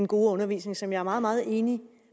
gode undervisning som jeg er meget meget enig